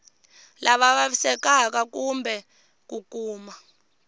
lava vavisekaka kumbe ku kuma